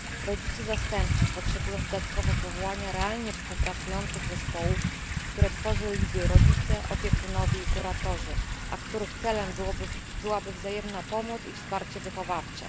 Rodzice zastępczy potrzebują dodatkowo powołania realnie współpracujących zespołów, które tworzyliby rodzice, opiekunowie i kuratorzy, a których celem byłaby wzajemna pomoc i wsparcie wychowawcze.